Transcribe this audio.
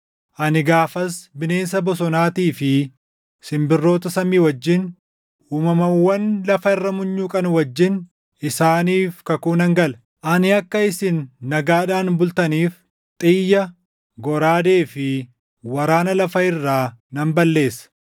Ani gaafas bineensa bosonaatii fi simbirroota samii wajjin, uumamawwan lafa irra munyuuqan wajjin isaaniif kakuu nan gala. Ani akka isin nagaadhaan bultaniif xiyya, goraadee fi waraana lafa irraa nan balleessa.